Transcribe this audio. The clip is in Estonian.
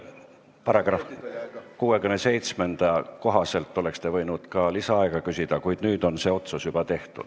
Paragrahvi 67 kohaselt oleks te võinud ka lisaaega küsida, kuid nüüd on otsus juba tehtud.